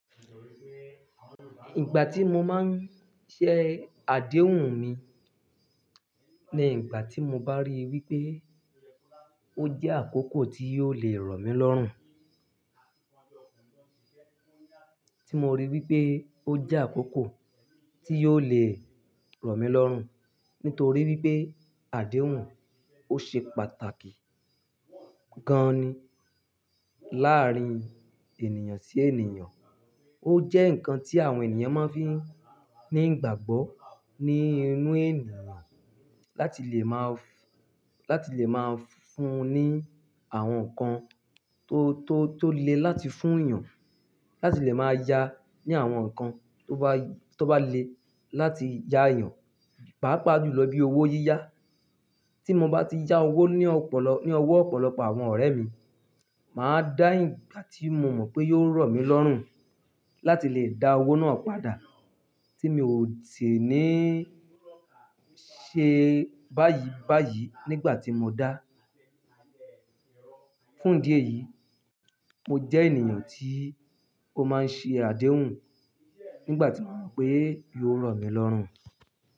Ìgbà tí mo máa ń ṣe àdéhùn ni, ní ìgbà tí mo bá ríi wípé ó jẹ́ àkókò tí yóò le rọ̀ mí lọ́rùn. Tí mo ríi wípé ó jẹ́ àkókò tí yóò le rọ̀ mí lọ́rùn. Nítorí wípé àdéhùn ó ṣe pàtàkì gan ni láàárín ènìyàn sí ènìyàn. Ó jẹ́ ǹkan tí àwọn ènìyàn máa ń fi ní ìgbàgbọ́ ní inú ènìyàn látibváti lè máa fún ní àwọn nǹkan tó, tó le láti fún èèyàn, láti lè máa yá ní àwọn nǹkan tó bá ó bá le láti yá èèyàn. Pá pà á jùn lọ bí owó yíyá. Tí mo bá ti yá owó ní owó ọ̀pọ̀lọpọ̀ àwọn ọ̀rẹ́ mi, màá dáhìn gbati mo mọ̀ pé yóò rọ̀ mí lọ́rùn láti lè dá owó náà padà tí mi ò sì ní ṣe báyìí, báyìí nígbà tí mo dá. Fún idí yìí, mo jẹ́ ènìyàn tí ó máa ń ṣe àdéhùn nígbà tí mo mọ̀ pé yóò rọ̀ mí lọ́rùn.